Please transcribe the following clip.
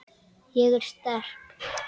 Ég er sterk.